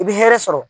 I bɛ hɛrɛ sɔrɔ